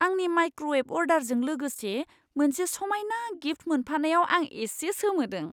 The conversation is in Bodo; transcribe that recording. आंनि माइक्र'वेभ अर्डारजों लोगोसे मोनसे समायना गिफ्ट मोनफानायाव आं एसे सोमोदों!